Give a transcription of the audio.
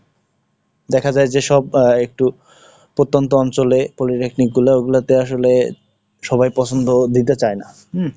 দেখা যায় যেসব একটু প্রত্যন্ত অঞ্চলে Polytechnic গুলো, ওগুলাতে আসলে সবাই পছন্দ দিতে চায় না, উম,